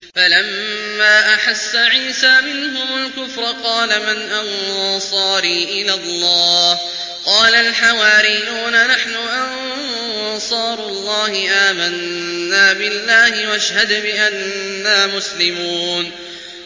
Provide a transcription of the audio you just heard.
۞ فَلَمَّا أَحَسَّ عِيسَىٰ مِنْهُمُ الْكُفْرَ قَالَ مَنْ أَنصَارِي إِلَى اللَّهِ ۖ قَالَ الْحَوَارِيُّونَ نَحْنُ أَنصَارُ اللَّهِ آمَنَّا بِاللَّهِ وَاشْهَدْ بِأَنَّا مُسْلِمُونَ